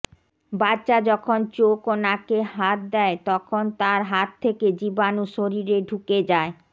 বাচ্চা যখন চোখ ও নাকে হাত দেয় তখন তার হাত থেকে জীবাণু শরীরে ঢুকে যায়